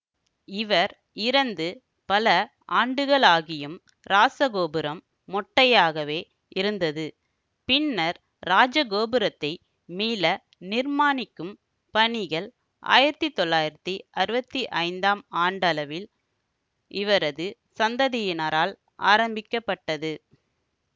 இவர் இறந்து பல ஆண்டுகளாகியும் இராசகோபுரம் மொட்டையாகவே இருந்தது பின்னர் இராஜகோபுரத்தை மீள நிர்மாணிக்கும் பணிகள் ஆயிரத்தி தொள்ளாயிரத்தி அறுவத்தி ஐந்தாம் ஆண்டளவில் இவரது சந்ததியினரால் ஆரம்பிக்க பட்டது